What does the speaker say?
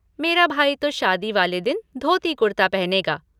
मेरा भाई तो शादी वाले दिन धोती कुर्ता पहनेगा।